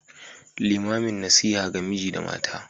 Limamin nasiha ga miji da mata.